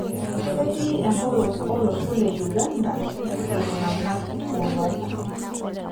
Ketii empolos olosho le Uganda iltung'anak kumok.